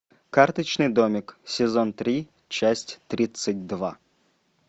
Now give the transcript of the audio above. карточный домик сезон три часть тридцать два